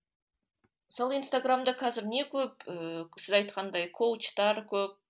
сол инстаграмда қазір не көп ііі сіз айтқандай коучтар көп